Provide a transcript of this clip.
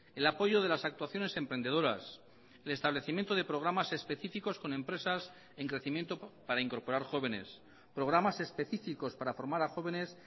el apoyo de las actuaciones emprendedoras el establecimiento de programas específicos con empresas en crecimiento para incorporar jóvenes programas específicos para formar a jóvenes